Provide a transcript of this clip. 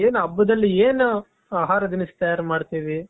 ಏನ್ ಹಬ್ಬದಲ್ಲಿ ಏನು ಆಹಾರ ತಿನಿಸು ತಯಾರ್ ಮಾಡ್ತೀವಿ.